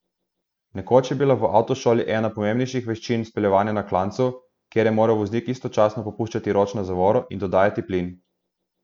Nekoč je bila v avtošoli ena pomembnejših veščin speljevanje na klancu, kjer je moral voznik istočasno popuščati ročno zavoro in dodajati plin.